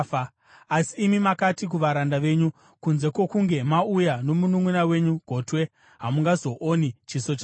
Asi imi makati kuvaranda venyu, ‘Kunze kwokunge mauya nomununʼuna wenyu gotwe, hamungazooni chiso changu.’